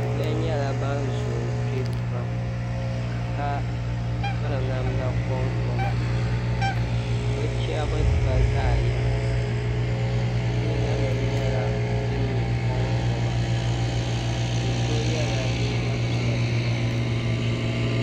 Bihi nyɛla ban zoo kpe pam ka piri namda konkɔba bɛ chahibu pa zaɣ'yinsi bɛ liiganima nyɛla din nyɛ konkɔba bi so yela liiga piɛlli